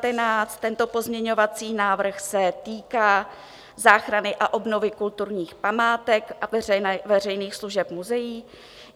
Tento pozměňovací návrh se týká záchrany a obnovy kulturních památek a veřejných služeb muzeí.